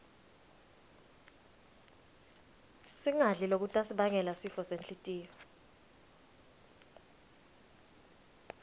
singadli lokutasibangela sifo senhltiyo